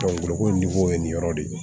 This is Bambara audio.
ko ni ko ye nin yɔrɔ de ye